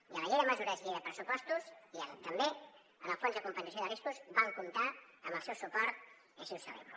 i a la llei de mesures i llei de pressupostos i també en el fons de compensació de riscos vam comptar amb el seu suport i així ho celebro